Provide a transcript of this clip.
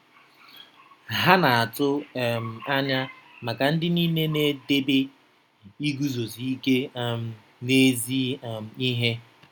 Ha na-atụ um anya maka ndị nile na-edebe iguzosi ike um n'ezi um ihe.